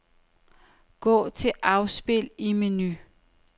Gå til afspil i menu.